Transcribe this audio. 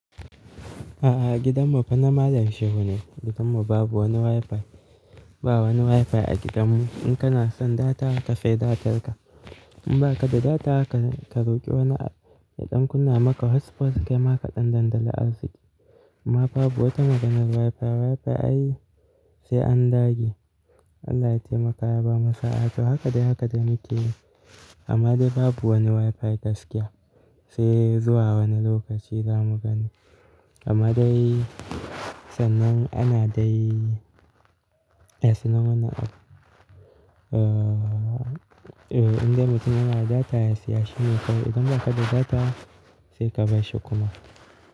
A'a, gidanmu fana malam shehu ne. Gidanmu babu wani WiFi. Ba wani WiFi a gidanmu. In kana son data, ka sai datarka. In ba ka da data, ka, ka roƙi wani ya ɗan kunna maka hotspot kai maka ɗan dandali arziki. Amma babu wata maganan WiFi. WiFi ai sai an dage. Allah ya taimaka ya ba mu sa'a. To haka dai, haka dai mukeyi. Amma dai babu wani WiFi gaskiya. Sai zuwa wani lokaci za mu gani. Amma dai sannan ana dai, ya sanar mana, uh, indai mutum yana data ya siya shi ne kawai. Idan ba ka da data sai ka bashi kuma.